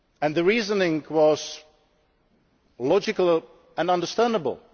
The reasoning was logical and understandable.